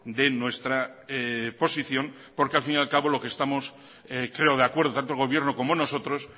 de nuestra posición porque al fin y al cabo lo que estamos creo de acuerdo tanto el gobierno como nosotros